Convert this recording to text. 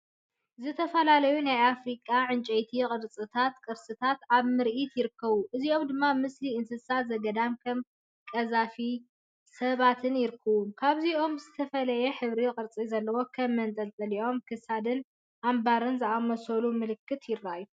ዝተፈላለዩ ናይ ኣፍሪቃ ዕንጨይቲ ቅርጻታትን ቅርስታትን ኣብ ምርኢት ይርከቡ። እዚኦም ድማ ምስሊ እንስሳ ዘገዳም (ከም ቀዛፊ)ን ሰባትን ይርከብዎም። ካብዚኦም ዝተፈላለየ ሕብርን ቅርጽን ዘለዎም ከም መንጠልጠሊ ክሳድን ኣምባርን ዝኣመሰሉ ምልክት ይረኣዩ።